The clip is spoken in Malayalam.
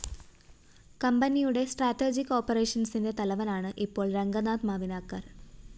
കമ്പനിയുടെ സ്ട്രാറ്റെര്‍ജിക് ഓപ്പറേഷന്‍സിന്റെ തലവനാണ് ഇപ്പോള്‍ രംഗനാഥ് മവിനാകര്‍